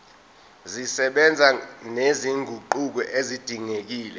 zisebenza nezinguquko ezidingekile